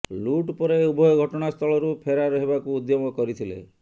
ଲୁଟ୍ ପରେ ଉଭୟ ଘଟଣାସ୍ଥଳରୁ ଫେରାର୍ ହେବାକୁ ଉଦ୍ୟମ କରିଥିଲେ